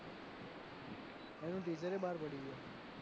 એનું teaser એ બાર પડી ગયું